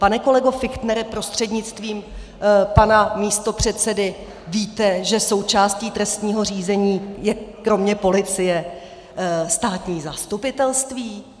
Pane kolego Fichtnere, prostřednictvím pana místopředsedy, víte, že součástí trestního řízení je kromě policie státní zastupitelství?